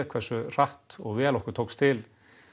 hversu hratt og vel okkur tókst til